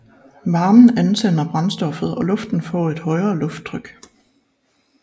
Varmen antænder brændstoffet og luften får et højere lufttryk